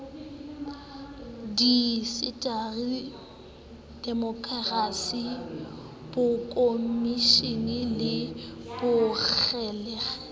diindasteri demokrasi bokomonisi le bongangele